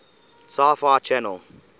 sci fi channel